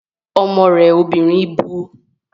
Ọmọ rẹ obìnrin bu